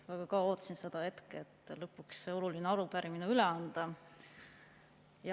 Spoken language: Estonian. Ma väga kaua ootasin seda hetke, et lõpuks see oluline arupärimine üle anda.